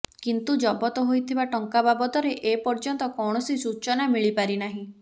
କିନ୍ତୁ ଜବତ ହୋଇଥିବା ଟଙ୍କା ବାବଦରେ ଏପର୍ଯ୍ୟନ୍ତ କୌଣସି ସୂଚନା ମିଳିପାରିନାହିଁ